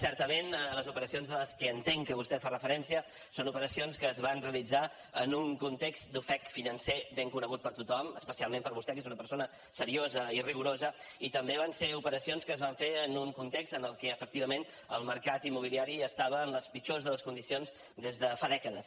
certament les operacions a les que entenc que vostè fa referència són operacions que es van realitzar en un context d’ofec financer ben conegut per tothom especialment per vostè que és una persona seriosa i rigorosa i també van ser operacions que es van fer en un context en el que efectivament el mercat immobiliari estava en les pitjors de les condicions des de fa dècades